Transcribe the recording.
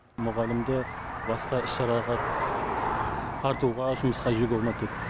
мұғалімді басқа іс шараға тартуға жұмысқа жіберуге болмайды